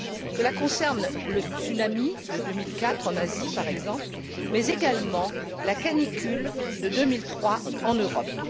Cela concerne le tsunami de 2004 en Asie, par exemple, mais également la canicule de 2003 en Europe.